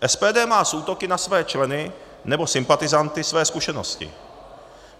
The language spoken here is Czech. SPD má s útoky na své členy nebo sympatizanty své zkušenosti.